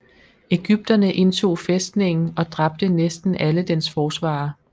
Egypterne indtog fæstningen og dræbte næsten alle dens forsvarere